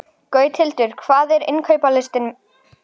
Gauthildur, hvað er á innkaupalistanum mínum?